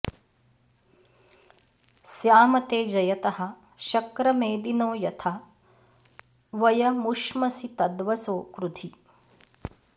स्याम ते जयतः शक्र मेदिनो यथा वयमुश्मसि तद्वसो कृधि